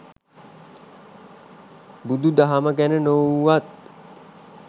බුදු දහම ගැන නොවුවත්